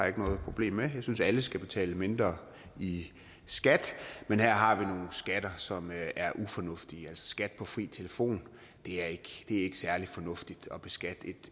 ikke noget problem med jeg synes alle skal betale mindre i skat men her har vi nogle skatter som er ufornuftige skat på fri telefon det er ikke særlig fornuftigt at beskatte